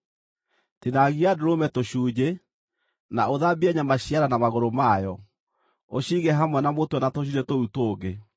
Tinangia ndũrũme tũcunjĩ, na ũthambie nyama cia nda, na magũrũ mayo, ũciige hamwe na mũtwe na tũcunjĩ tũu tũngĩ.